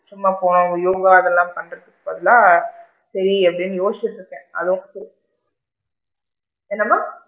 சும்மா யோகா இதெல்லாம் பண்றதுக்கு பதிலா சேரி அப்படின்னு யோசிச்சிட்டு இருக்கேன் அதுவும் என்னம்மா?